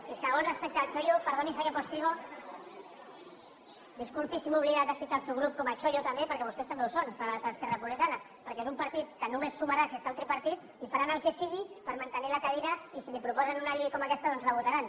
i segon respecte al txollo perdoni senyor postigo disculpi si m’he oblidat de citar el seu grup com a txollo també perquè vostès també ho són per a esquerra republicana perquè és un partit que només sumarà si està al tripartit i faran el que sigui per mantenir la cadira i si li proposen una llei com aquesta doncs la votaran